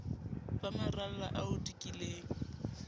ba maralla a o dikileng